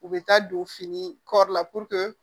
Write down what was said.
U bɛ taa don fini kɔri la